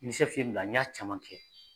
Ni ye n bila n y'a caman kɛ